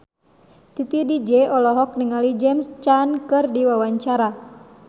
Titi DJ olohok ningali James Caan keur diwawancara